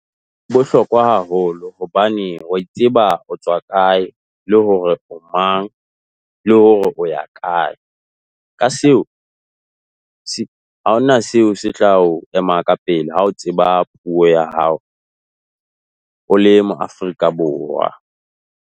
bohlokwa haholo hobane o a itseba o tswa kae, le hore o mang, le hore o ya kae. Ka seo ha hona seo se tla o ema ka pele ha o tseba puo ya hao o le moAfrika Borwa.